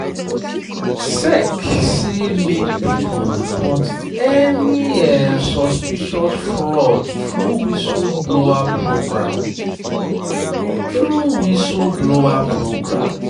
sec say make people report any suspicious fraud through whistleblower program. through whistleblower program.